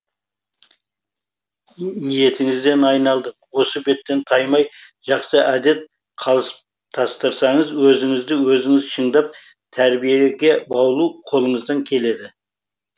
ниетіңізден айналдым осы беттен таймай жақсы әдет қалыптастырсаңыз өзіңізді өзіңіз шыңдап тәрбиеге баулу қолыңыздан келеді